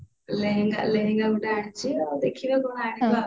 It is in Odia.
ଲେହେଙ୍ଗା ଲେହେଙ୍ଗା ଗୋଟେ ଆନିଛି ଆଉ ଦେଖିବା କଣ ଆଣିବା